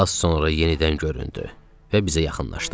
Az sonra yenidən göründü və bizə yaxınlaşdı.